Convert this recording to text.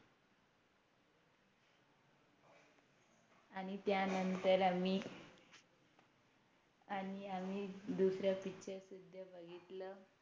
आणि त्यांनतर आम्ही आणि आम्ही दुसर Picture सुद्धा बघितल